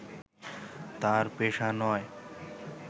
তার পেশা নয়